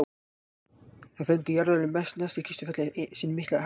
þá fengu jarðlögin neðst í kistufelli sinn mikla halla